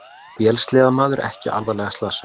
Vélsleðamaður ekki alvarlega slasaður